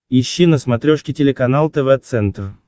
ищи на смотрешке телеканал тв центр